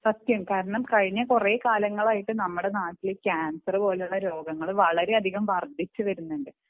സത്യം കാരണം കഴിഞ്ഞ കുറെ കാലങ്ങളായിട്ടു നമ്മുടെ നാട്ടിൽ കാൻസർ പോലെയുള്ള രോഗങ്ങൾ വളരെയധികം വർധിച്ചിട്ടുണ്ട്